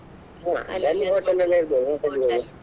ಇದೆ .